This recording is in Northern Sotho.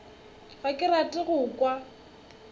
ga ke rate go kwa